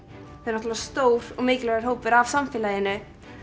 náttúrulega stór og mikilvægur hópur af samfélaginu